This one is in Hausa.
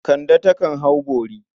Kande takan hau bori.